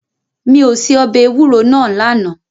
Mi ò se ọbẹ̀ ewúro náà lánàá.